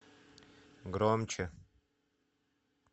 громче